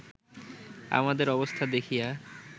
আমাদের অবস্থা দেখিয়া